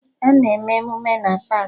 Ana eme emụme na paakị